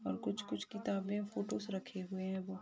और कुछ-कुछ किताब में फ़ोटोज रखे हुए हैं वो--